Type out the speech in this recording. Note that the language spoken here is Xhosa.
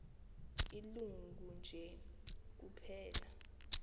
ilungu nje kuphela